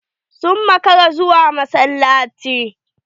Sun maƙara zuwa massalaci.